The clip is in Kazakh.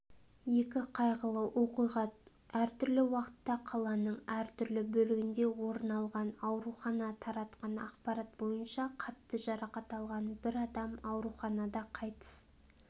екі қайғылы оқиға әртүрлі уақытта қаланың әртүрлі бөлігінде орын алған аурухана таратқан ақпарат бойынша қатты жарақат алған бір адам ауруханада қайтыс